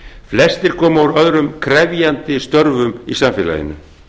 flestir komu úr öðrum krefjandi störfum í samfélaginu